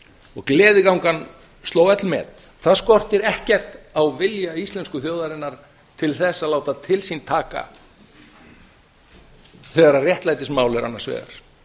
og gleðigangan sló öll met það skortir ekkert á vilja íslensku þjóðarinnar til þess að láta til sín taka þegar réttlætismál eru annars vegar